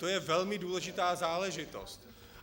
To je velmi důležitá záležitost.